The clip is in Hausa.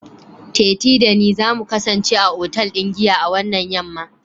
tetee da ni za my kasance a otal ɗin giya a wannan yam'ma